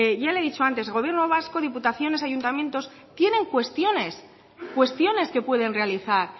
ya le he dicho antes gobierno vasco diputaciones y ayuntamientos tienen cuestiones que pueden realizar